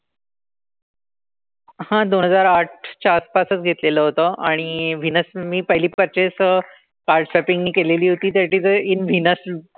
हां दोन हजार आठच्या आसपासच घेतलेलं होतं. आणि व्हिनस मी पहिली purchase card shopping मी केलेली होती that is a in Venus.